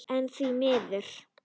En því miður.